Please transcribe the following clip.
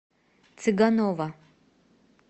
цыганова